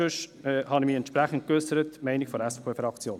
Sonst habe ich mich entsprechend geäussert: die Meinung der SVP-Fraktion.